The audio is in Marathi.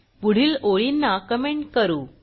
पुढील ओळींना कमेंट करू